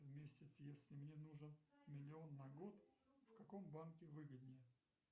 в месяц если мне нужен миллион на год в каком банке выгоднее